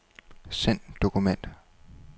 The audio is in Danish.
Send dokument.